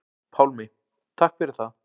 Pálmi: Takk fyrir það.